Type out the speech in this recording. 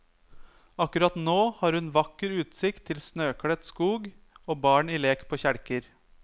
Akkurat nå har hun vakker utsikt til snøkledt skog og barn i lek på kjelker.